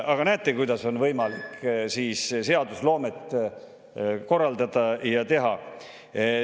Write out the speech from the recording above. Aga näete, kuidas on võimalik seadusloomet korraldada ja teha.